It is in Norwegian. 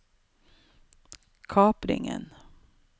kapringen